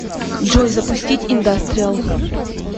джой запустить индастриал